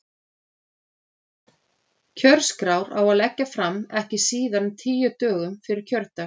Kjörskrár á að leggja fram ekki síðar en tíu dögum fyrir kjördag.